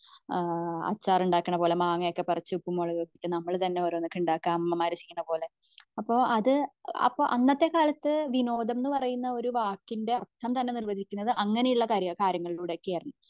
ഏഹ്ഹ് അച്ചാർ ഉണ്ടാകണ പോലെ മാങ്ങാ ഒക്കെ പറിച്ച് ഉപ്പും മുളകൊക്കെ ഇട്ട് നമ്മൾ തന്നെ അമ്മമാര് ചെയ്യണപോലെ അപ്പോ അത് അന്നത്തെ കാലത്തു വിനോദമെന്ന പറയുന്ന വാക്കിന്റെ അർഥം തന്നെ വരുന്നത് അങ്ങനെ ഉള്ള കാര്യങ്ങളിലൂടെ ആണ്